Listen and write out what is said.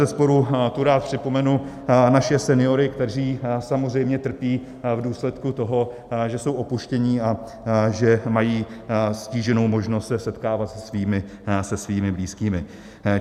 Bezesporu tu rád připomenu naše seniory, kteří samozřejmě trpí v důsledku toho, že jsou opuštění a že mají stíženou možnost se setkávat se svými blízkými.